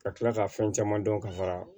Ka tila ka fɛn caman dɔn ka fara